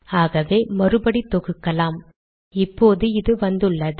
ஆகவே மறுபடி தொகுக்கலாம் இப்போது இது வந்துள்ளது